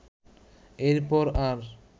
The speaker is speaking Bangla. এরপর আর